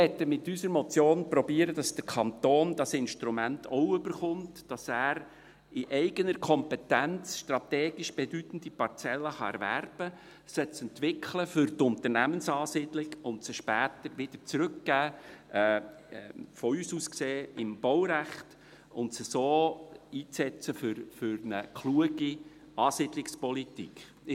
]» Wir möchten mit unserer Motion versuchen, dass der Kanton dieses Instrument auch erhält, damit er in eigener Kompetenz strategisch bedeutende Parzellen erwerben kann, um sie für Unternehmensansiedlungen zu entwickeln, sie später wieder zurückzugeben – von uns aus gesehen im Baurecht – und sie so für eine kluge Ansiedlungspolitik einzusetzen.